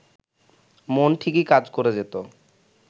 মন ঠিকই কাজ করে যেত